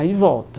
Aí volta.